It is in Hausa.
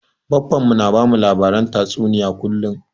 Baffan mu na bamu labaren tatsuniya kullum